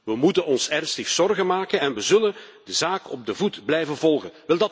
We moeten ons ernstig zorgen maken en we zullen de zaak op de voet blijven volgen.